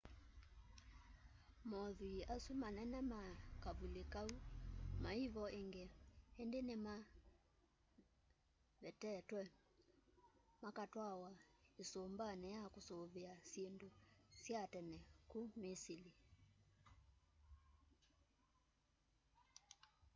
mothwii asu manee ma kavuli kau maivo ingi indi nimavetetwe makatwawa isumbani ya kusuvia syindu sya tene ku misili